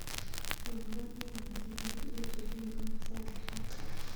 Mwowon ematinwek tugul che loen ak saishek